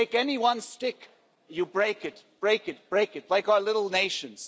You take any one stick, you break it, break it, break it, like our little nations.